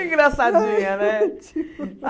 Engraçadinha, né?